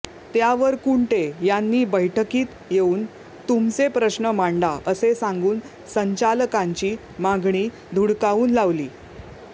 त्यावर कुंटे यांनी बैठकीत येऊन तुमचे प्रश्न मांडा असे सांगून संचालकांची मागणी धुडकावून लावली